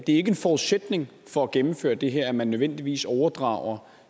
en forudsætning for at gennemføre det her at man nødvendigvis overdrager